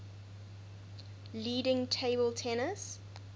leading table tennis